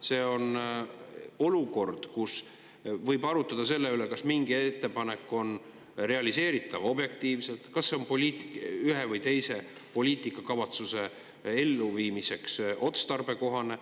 See on olukord, kus võib arutada selle üle, kas mingi ettepanek on objektiivselt realiseeritav, kas see on ühe või teise poliitikakavatsuse elluviimiseks otstarbekohane.